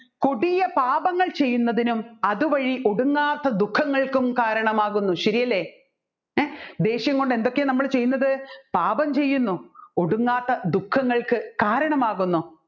കൊടിയ പാപങ്ങൾ ചെയ്യുന്നതിനും അതുവഴി ഒടുങ്ങാത്ത ദുഃഖങ്ങൾക്കും കാരണമാകുന്നു ശരിയല്ലേ ദേഷ്യം കൊണ്ട് എന്തൊക്കെയാ നമ്മൾ ചെയ്യുന്നത് പാപം ചെയ്യുന്നു ഒടുങ്ങാത്ത ദുഃഖങ്ങൾക്ക് കാരണമാകുന്നു